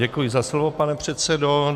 Děkuji za slovo, pane předsedo.